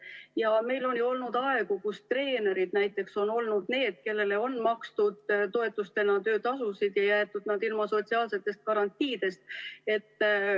Ja meil on ju olnud aegu, kus treenerid näiteks on olnud need, kellele on makstud toetustena töötasusid ja jäetud nad ilma sotsiaalsetest garantiidest.